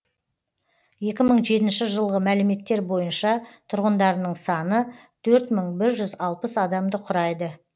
екі мың жетінші жылғы мәліметтер бойынша тұрғындарының саны төрт мың бір жүз алпыс адамды құра